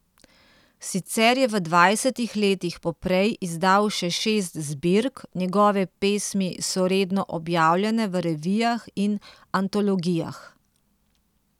Sicer je v dvajsetih letih poprej izdal še šest zbirk, njegove pesmi so redno objavljane v revijah in antologijah.